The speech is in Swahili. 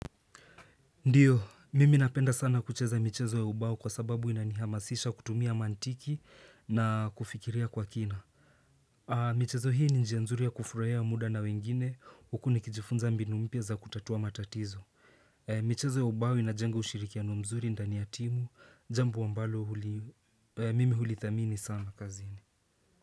Ndio mimi napenda sana kucheza michezo ya ubao kwa sababu inanihamasisha kutumia mantiki na kufikiria kwa kina. Michezo hii ni njia nzuri ya kufurahia muda na wengine huku nikijifunza mbinu mpya za kutatua matatizo michezo ya ubao inajenga ushirikiano mzuri ndani ya timu jambo ambalo mimi hulithamini sana kazini.